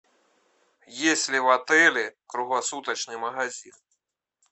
есть ли в отеле круглосуточный магазин